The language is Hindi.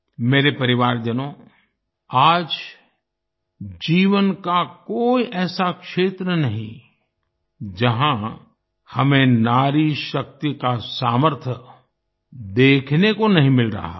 मेरे परिवारजनों आज जीवन का कोई ऐसा क्षेत्र नहीं जहाँ हमें नारी शक्ति का सामर्थ्य देखने को नहीं मिल रहा हो